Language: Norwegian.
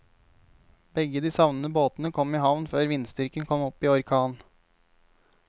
Begge de savnede båtene kom i havn før vindstyrken kom opp i orkan.